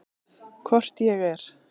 Hvort ég er.